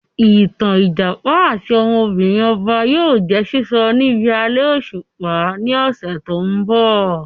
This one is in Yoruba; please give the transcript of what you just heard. Ìtàn Ìjàpá àti ọmọbìnrin ọba yìí ó jẹ̀ sísọ níbi alẹ́ òṣùpá ni ọ̀sẹ̀ tòun bọ̀